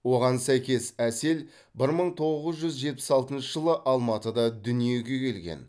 оған сәйкес әсел бір мың тоғыз жүз жетпіс алтыншы жылы алматыда дүниеге келген